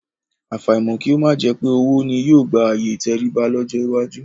Àfàìmọ̀ kí ó má jẹ pé owó ni yóò gba ààyè ìtẹríba lọ́jọ́ iwájú